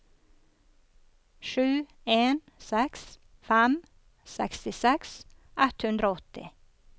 sju en seks fem sekstiseks ett hundre og åtti